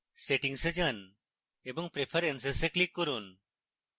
settings এ যান এবং preferences এ click করুন